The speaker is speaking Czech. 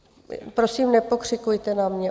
Prosím, nepokřikujte na mě.